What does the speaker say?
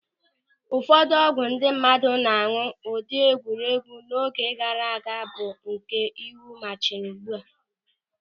Ụfọdụ ọgwụ ndị mmadụ na-añụ n'ụdị egwuregwu n'oge gaara aga bụ nke iwu ma chịrị ugbu a.